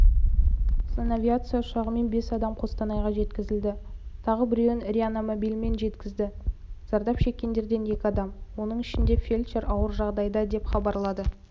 санавиация ұшағымен бес адам қостанайға жеткізілді тағы біреуін реанимобильмен жеткізді зардап шеккендерден екі адам оның ішінде фельдшер ауыр жағдайда деп хабарлады